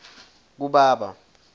kubaba